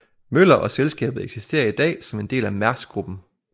Møller og selskabet eksisterer i dag som en del af Mærsk gruppen